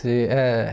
Sim eh